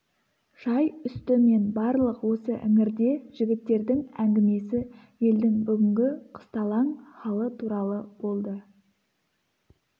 шай үсті мен барлық осы іңірде жігіттердің әңгімесі елдің бүгінгі қысталаң халы туралы болды